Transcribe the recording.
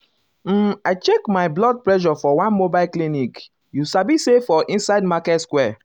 um i check my blood pressure for one mobile clinicyou sabi say for inside market square.